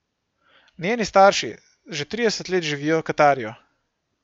Njeni starši že trideset let živijo v Katarju.